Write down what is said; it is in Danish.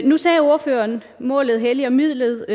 nu sagde ordføreren at målet helliger midlet